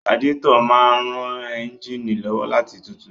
Radiétọ̀ máa n ran éúnjínì lọ́wọ́ láti tutù